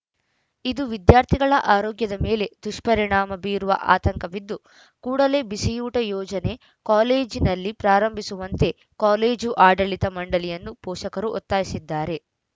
ಇದು ವಿದ್ಯಾರ್ಥಿಗಳ ಆರೋಗ್ಯದ ಮೇಲೆ ದುಷ್ಪರಿಣಾಮ ಬೀರುವ ಆತಂಕವಿದ್ದು ಕೂಡಲೇ ಬಿಸಿಯೂಟ ಯೋಜನೆ ಕಾಲೇಜಿನಲ್ಲಿ ಪ್ರಾರಂಭಿಸುವಂತೆ ಕಾಲೇಜು ಆಡಳಿತ ಮಂಡಳಿಯನ್ನು ಪೋಷಕರು ಒತ್ತಾಯಿಸಿದ್ದಾರೆ